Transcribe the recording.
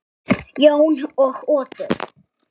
Jón og Oddur.